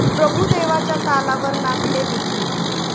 प्रभुदेवाच्या तालावर नाचले बिग बी